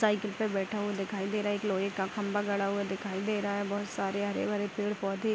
cycle पे बैठा हुआ दिखाई दे रहा है एक लोहे का खंभा गड़ा हुआ दिखाई दे रहा है बहुत सारे हरे-भरे पेड़-पौधे --